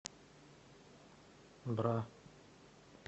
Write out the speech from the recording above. бра